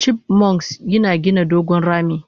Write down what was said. chipmunks yina gina dogon rami?